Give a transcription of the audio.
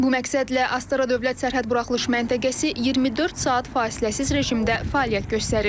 Bu məqsədlə Astara dövlət sərhəd buraxılış məntəqəsi 24 saat fasiləsiz rejimdə fəaliyyət göstərir.